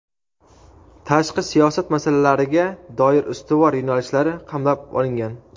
tashqi siyosat masalalariga doir ustuvor yo‘nalishlari qamrab olingan.